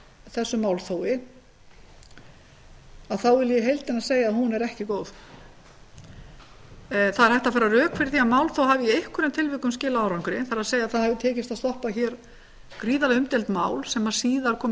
þessu málþófi þá vil ég í heildina segja að hún er ekki góð það er hægt að færa rök fyrir því að málþóf hafi í einhverjum tilvikum skilað árangri það er það hefur tekist að stöðva gríðarlega umdeild mál sem síðar kom í